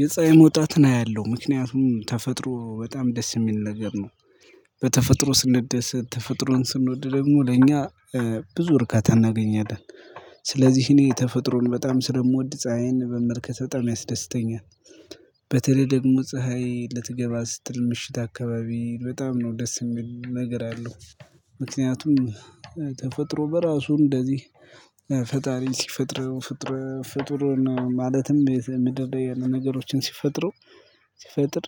የፀሀይ መውጣትን አያለሁ ምክንያቱም ተፈጥሮ በጣም ደስ የሚል ነገር ነው። በተፈጥሮ ስንደሰት ተፈጥሮን ስንወድ ደግሞ ለእኛ ብዙ እርካታ እናገኛለን። ስለዚህ እኔ ተፈጥሮን በጣም ስለምወድ ፀሀይን በመልከት በጣም ያስደስተኛል። በተለይ ደግሞ ፀሀይ ልትገባ ስትል ምሽት አካባቢ በጣም ነው ደስ የሚል ነገር አለው። ምክንያቱም ተፈጥሮ በራሱ እንደዚህ ፈጣሪ ሲፈጥረው ፈጥረ ፈጥረ ማለትም ምድር ላይ ያሉ ነገሮችን ሲፈጥሩ ሲፈጥር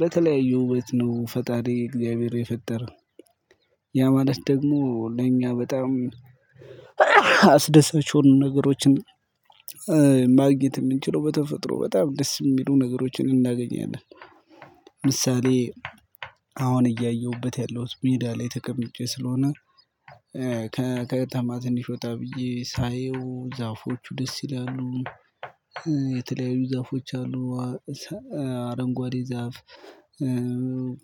በተለያዩ ውበት ነው ፈጣሪ እግዚአብሔር የፈጠረው። ያ ማለት ደግሞ ለእኛ በጣም አስደሳች የሆኑ ነገሮችን ማግኘት ምንችለው በተፈጥሮ በጣም ደስ የሚሉ ነገሮችን እናገኛለን። ምሳሌ አሁን እያየሁበት ያለሁት ሜዳ ላይ ተቀምጨ ስለሆነ ከተማ ትንሽ ወጣ ብየ ሳየው ዛፎቹ ደስ ይላሉ። የተለያዩ ዛፎች አሉ። አረንጓዴ ዛፍ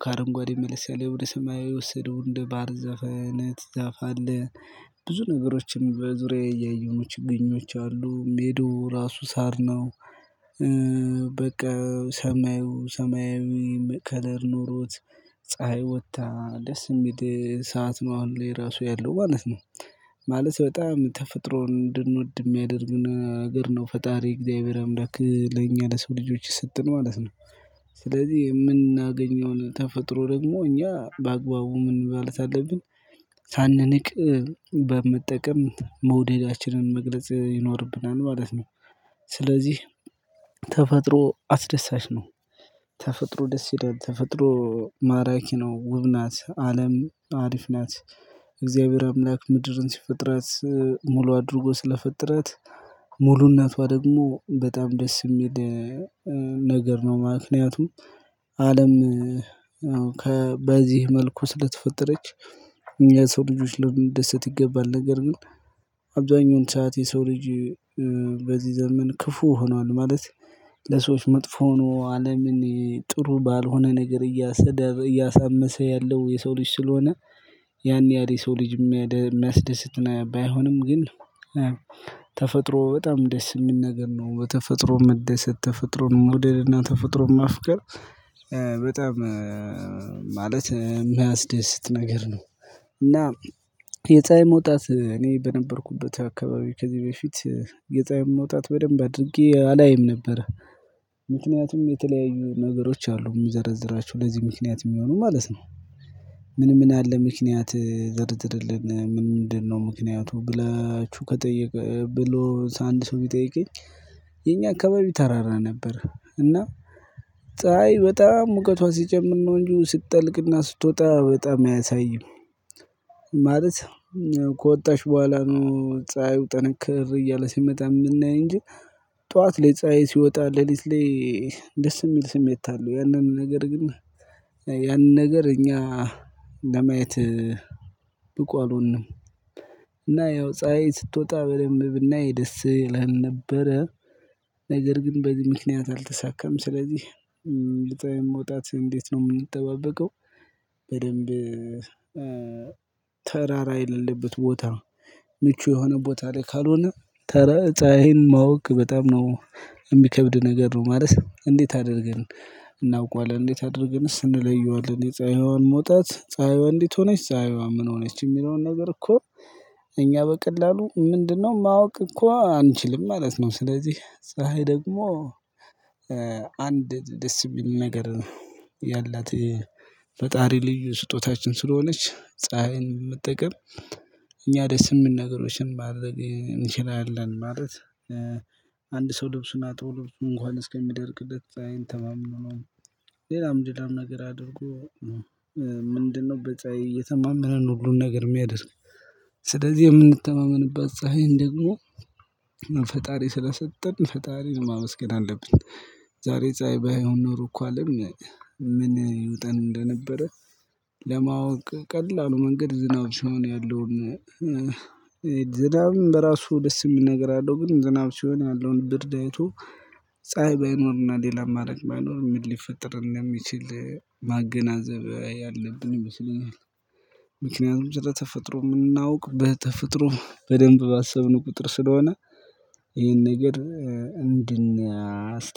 ከአረንጓዴ መለስ ያለ ወደ ሰማያዊ የወሰደው እንደ ባህር ዛፍ አይነት ዛፍ አለ። ብዙ ነገሮችን በዙሪያዬ እያየው ነው ችግኞች አሉ ሜዳው ራሱ ሳር ነው። በቃ ሰማዩ ሰማያዊ ከለር ኖሮት ፀሀይ ወታ ደስ ሚል ሰዓት ነው አሁን ላይ ራሱ ያለው ማለት ነው። ማለት በጣም ተፈጥሮ እንድንወድ የሚያደርግ ነገር ነው ፈጣሪ እግዚአብሔር አምላክ ለኛ ለሰው ልጆች ስትኖ ማለት ነው። ስለዚህ የምናገኘውን ተፈጥሮ ደግሞ እኛ በአግባቡ ምን ማለት አለብን። ሳንንቅ በመጠቀም መውደዳችንን መግለጽ ይኖርብናል ማለት ነው። ስለዚህ ተፈጥሮ አስደሳች ነው። ተፈጥሮ ደስ ይላል ተፈጥሮ ማራኪ ነው ውብ ናት አለም አሪፍ ናት። እግዚአብሔር አምላክ ምድርን ሲፈጥራት ሙሉ አድርጎ ስለፈጠራት ሙሉ እነቷ ደግሞ በጣም ደስ ሚል ነገር ነው። ምክንያቱም አለም ከበዚህ መልኩ ስለተፈጠረች የሰው ልጆች ልንደሰት ይገባል። ነገር ግን አብዛኛውን ሰዓት የሰው ልጅ በዚህ ዘመን ክፉ ሆኗል። ማለት ለሰዎች መጥፎ ሆኖ አለምን ጥሩ ባልሆነ ነገር እያሰደብ እያሳመሰ ያለው የሰው ልጅ ስለሆነ። ያን ያህል የሰው ልጅ የሚያስደስት ባይሆንም ግን ተፈጥሮ በጣም ደስ የሚል ነገር ነው። በተፈጥሮ መደሰት ተፈጥሮን መውደድና ተፈጥሮን ማፍቀር በጣም ማለት ሚያስደስት ነገር ነው። እና የፀሀይ መውጣት እኔ በነበርኩበት አካባቢ ከዚህ በፊት የፀሀይ መውጣት በደንብ አድርጌ አላይም ነበር። ምክንያቱም የተለያዩ ነገሮች አሉ ሚዘረዝራቸው ለዚህ ምክንያት የሚሆኑ ማለት ነው። ምን ምን አለ ምክንያት ዘርዝርልን ምንድነው? ምክንያቱ ብላቹ ከጠየቀ ብሎ አንድ ሰው ቢጠይቀኝ። የኛ አካባቢ ተራራ ነበር። እና ፀሀይ በጣም ሙቀቷ ሲጨምር ነው እንጂ ስትጠልቅና ስትወጣ በጣም አያሳይም። ማለት ከወጣሽ በኋላ ነው ፀሀዩ ጠነከር እያለ ሲመጣ የምናየው እንጂ። ጠዋት ለፀሀይ ሲወጣ ሌሊት ላይ ደስ የሚል ስሜት አለው። ያንን ነገር ግን ያንን ነገር እኛ ለማየት ብቁ አልሆንም። እና ያው ፀሀይ ስትወጣ በደንብ ብናይ ደስ ይለህን ነበረ። ነገር ግን በዚህ ምክንያት አልተሳካም። ስለዚህ ልጠይም መውጣት እንዴት ነው የምንጠባበቀው? በደንብ ተራራ የሌለበት ቦታ ምቹ የሆነ ቦታ ላይ ካልሆነ ተራ ፀሀይን ማወቅ በጣም ነው እሚከብድ ነገር ነው። ማለት እንዴት አድርገን እናውቀዋለን እንዴት አድርገንስ እንለየዋለን አለን የፀሀይዋን መውጣት ፀሀይዋ እንዴት ሆነች ፀሀይዋ ምን ሆነች የሚለውን ነገር እኮ እኛ በቀላሉ ምንድነው ማወቅ እኮ አንችልም። ማለት ነው። ስለዚህ ፀሀይ ደግሞ አንድ ደስ የሚል ነገር ያላት ፈጣሪ ልዩ ስጦታችን ስለሆነች ፀሀይን መጠቀም እኛ ደስ የምን ነገሮችን ማድረግ እንችላለን። ማለት አንድ ሰው ልብሱን አጥቦ ልብሱን እንኳን እስከ ሚደርቅለት ፀሀይን ተማምኖ ነው። ሌላም ሌላም ነገር አድርጎ ምንድነው በፀሀይ እየተማመነ ነው ሁሉን ነገር የሚያደርግ። ስለዚህ የምንተማመንበት ፀሀይን ደግሞ ፈጣሪ ስለሰጠን ፈጣሪን ማመስገን አለብን። ዛሬ ፀሀይ ባይሆን ኖሮ እኮ አለም ምን ይውጠን እንደነበረ። ለማወቅ ቀላሉ መንገድ ዝናብ ሲሆን ያለውን ዝናብም በራሱ ደስ የምል ነገር አለው ግን ዝናብ ሲሆን ያለውን ብርድ አይቶ ፀሀይ ባይኖርና ሌላ አማራጭ ባይኖር ምን ሊፈጥር እንደሚችል ማገናዘብ ያለብን ይመስለኛል። ምክንያቱም ስለ ተፈጥሮ ምናውቅ በተፈጥሮ በደንብ ባሰብነ ቁጥር ስለሆነ ይህን ነገር እንድናስ